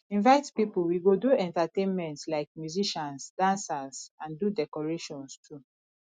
invite pipo wey go do entertainment like musicians dancers and do decorations too